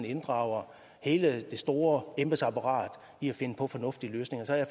inddrager hele det store embedsapparat i at finde på fornuftige løsninger så jeg